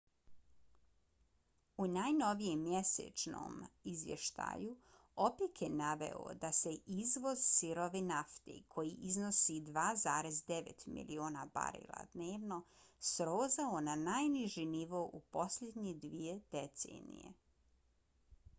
u najnovijem mjesečnom izvještaju opec je naveo da se izvoz sirove nafte koji iznosi 2,9 miliona barela dnevno srozao na najniži nivo u posljednje dvije decenije